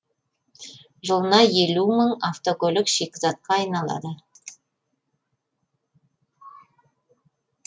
жылына елу мың автокөлік шикізатқа айналады